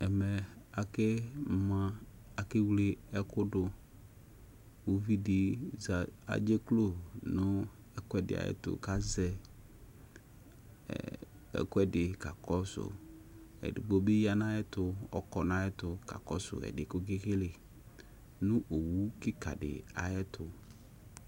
Ake wle ɛkʊdʊ ʊvɩdɩ adzeklo nʊ ɛkʊɛdɩ ayʊ ɛtʊ edigbo bɩ yanʊ ayʊ ɛtʊ kakɔsʊ ɛdɩ yɛ kekele nʊ owʊ kɩkadɩ ayʊ ɛtʊ